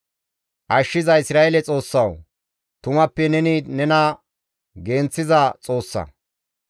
Ashshiza Isra7eele Xoossawu, tumappe neni nena genththiza Xoossa.